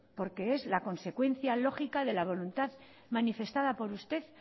porque es la consecuencia lógica de la voluntad manifestada por usted